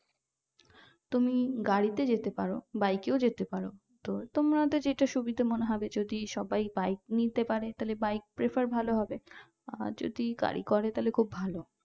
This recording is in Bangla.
তুমি গাড়িতে যেতে পারো bike এও যেতে পারো তোমাদের যেটা সুবিধা মনে হবে সবাই bike নিয়ে যেতে পারে তাহলে bike prefer ভালো হবে আর যদি গাড়ি করে তাহলে খুব ভালো